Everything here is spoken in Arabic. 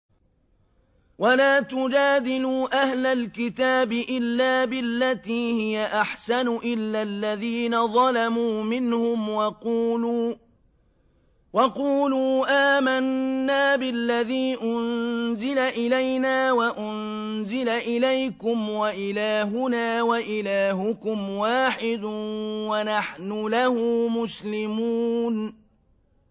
۞ وَلَا تُجَادِلُوا أَهْلَ الْكِتَابِ إِلَّا بِالَّتِي هِيَ أَحْسَنُ إِلَّا الَّذِينَ ظَلَمُوا مِنْهُمْ ۖ وَقُولُوا آمَنَّا بِالَّذِي أُنزِلَ إِلَيْنَا وَأُنزِلَ إِلَيْكُمْ وَإِلَٰهُنَا وَإِلَٰهُكُمْ وَاحِدٌ وَنَحْنُ لَهُ مُسْلِمُونَ